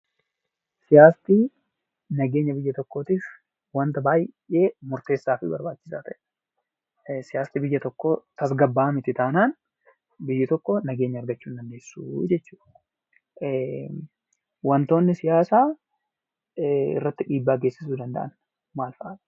Siyaasti nageenya biyyaa tokkottiif baay'ee barbachisaafi murtessaa ta'eedha. Siyàasni biyyaa tokko tasgaba'a miti tannan biyyi tokko nageenya argachuu in dandesuu jechuudha. Waantootni siyaasa irratti dhibbaa gesissuu danda'an maal fa'i?